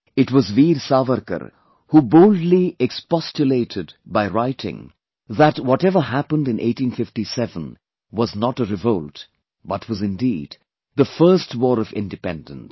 It was Veer Savarkar who boldly expostulated by writing that whatever happened in 1857 was not a revolt but was indeed the First War of Independence